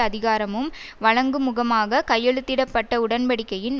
அதிகாரமும் வழங்குமுகமாக கையெழுத்திட பட்ட உடன்படிக்கையின்